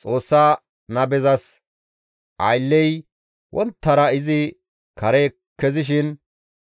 Xoossa nabezas aylley wonttara izi kare kezishin